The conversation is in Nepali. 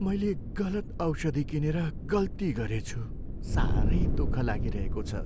मैले गलत औषधि किनेर गल्ती गरेछु। साह्रै दुःख लागिरहेको छ।